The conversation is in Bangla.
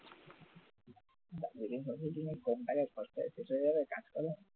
হবে কি হবে কি না সব জায়গায় সেটাই আবার কাজ করে